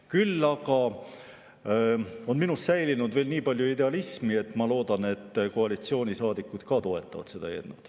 Küll aga on minus säilinud veel nii palju idealismi, et ma loodan, et ka koalitsioonisaadikud toetavad seda eelnõu.